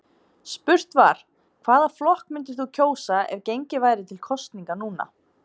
Spurt var, hvaða flokk myndir þú kjósa ef gengið væri til kosninga núna?